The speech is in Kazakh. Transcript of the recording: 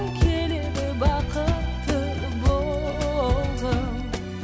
келеді бақытты болғым